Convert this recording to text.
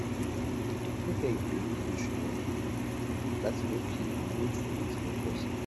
níkẹyìn o lè lo owó oṣù yẹn láti fi mú kí owó ìfèyìntì rẹ pò sí i